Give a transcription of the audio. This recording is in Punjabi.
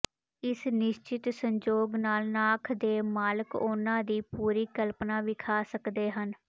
ਇੱਕ ਨਿਸ਼ਚਤ ਸੰਜੋਗ ਨਾਲ ਨਾਖ ਦੇ ਮਾਲਕ ਉਹਨਾਂ ਦੀ ਪੂਰੀ ਕਲਪਨਾ ਵਿਖਾ ਸਕਦੇ ਹਨ